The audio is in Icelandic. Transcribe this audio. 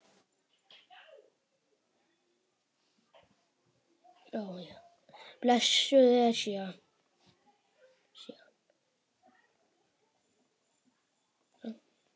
Blessuð Esjan.